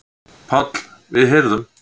PÁLL: Við heyrðum.